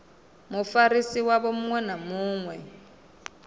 mufarisi wavho muṅwe na muṅwe